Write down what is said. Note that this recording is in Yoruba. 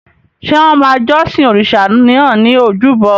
Ṣé wọ́n máa jọ́sìn òrìṣà náà ní ojúbọ?